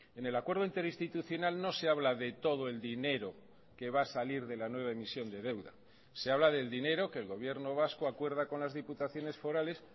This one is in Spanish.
en el acuerdo interinstitucional no se habla de todo el dinero que va a salir de la nueva emisión de deuda se habla del dinero que el gobierno vasco acuerda con las diputaciones forales